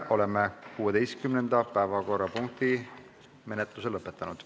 Oleme 16. päevakorrapunkti menetluse lõpetanud.